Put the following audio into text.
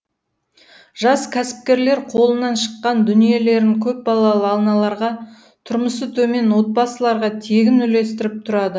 жас кәсіпкерлер қолынан шыққан дүниелерін көпбалалы аналарға тұрмысы төмен отбасыларға тегін үлестіріп тұрады